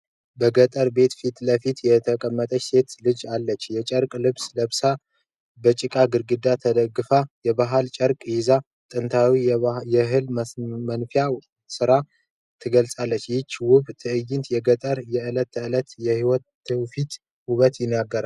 በገጠር ቤት ፊት ለፊት የተቀመጠች ሴት ልጅ አለች። የጨርቅ ልብስ ለብሳ፣ በጭቃ ግድግዳ ተደግፋለች። የባህላዊ ቅርጫት ይዛ፣ ጥንታዊውን የእህል መንፋት ሥራ ትገልጻለች። ይህች ውብ ትዕይንት የገጠርን የዕለት ተዕለት ሕይወትና የትውፊት ውበት ይናገራል።